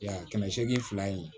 Ya kɛmɛ seegin fila in ye